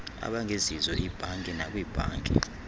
abangezizo iibhanki nakwiibhanki